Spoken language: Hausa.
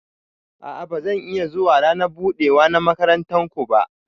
A'a ba zan iya zuwa rana budewa na makarantan ku ba.